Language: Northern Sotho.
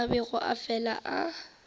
a bego a fela a